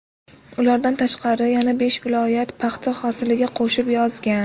Ulardan tashqari yana besh viloyat paxta hosiliga qo‘shib yozgan.